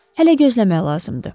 Hələ gözləmək lazımdır.